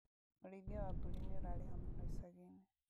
ũrĩithia wa mbũri nĩũrarĩha mũno icagi-inĩ